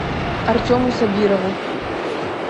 артему сабирову